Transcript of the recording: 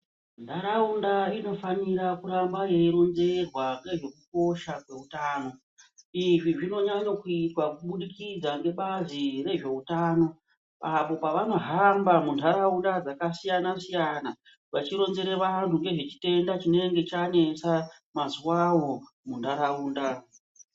Nharaunda inofanira kuramba yeironzerwa ngezvekukosha kweutano izvi zvinonyanye kuitwa kubudikidza ngebazi rezveutano apo vanohamba munharaunda dzakasiyanasiyana vachironzera vanhu ngezve chitenda chinenge chanesa mazuwawo munharaunda.